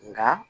Nka